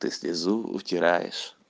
ты слезу утираешь